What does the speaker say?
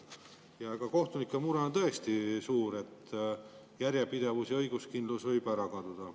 Kohtunike mure on tõesti suur, järjepidevus ja õiguskindlus võib ära kaduda.